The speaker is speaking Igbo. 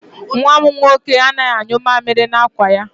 Nwa m nwoke anaghị anyụ mamịrị n'akwa ya.